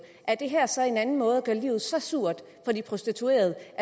er det her så en anden måde at gøre livet så surt for de prostituerede